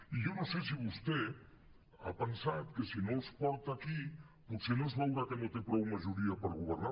i jo no sé si vostè ha pensat que si no els porta aquí potser no es veurà que no té prou majoria per governar